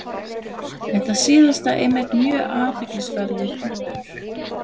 Þetta síðasta er einmitt mjög athyglisverður punktur.